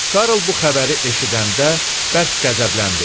Karl bu xəbəri eşidəndə bərk qəzəbləndi.